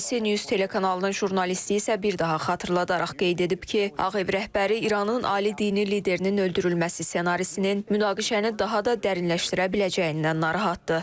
ABC News telekanalının jurnalisti isə bir daha xatırladaraq qeyd edib ki, Ağ Ev rəhbəri İranın ali dini liderinin öldürülməsi ssenarisinin münaqişəni daha da dərinləşdirə biləcəyindən narahatdır.